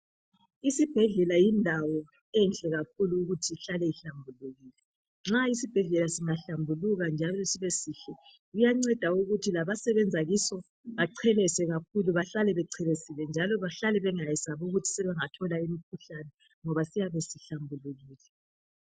Isibhedlela yindawo enhle kakhulu ukuthi ihlale ihlambulukile. Nxa isibhedlela singahlambuluka njalo sibesihle kuyanceda ukuthi labasebenza kiso bachelese kakhulu bahlale bechelesile njalo bahlale bengayesabi ukuthi sebengathola imikhuhlane ngoba siyabe sihlambulukile.